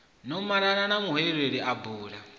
no malana muhweleli a bula